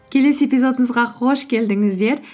келесі эпизодымызға қош келдіңіздер